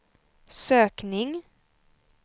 sökning